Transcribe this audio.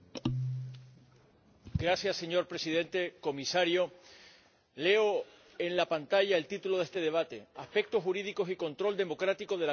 Señor Presidente, Comisario, leo en la pantalla el título de este debate aspectos jurídicos y control democrático del acuerdo de la Unión Europea con Turquía.